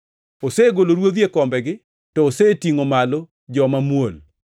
Osegolo ruodhi e kombegi to osetingʼo malo joma muol.